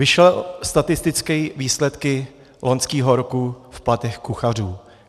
Vyšly statistické výsledky loňského roku v platech kuchařů.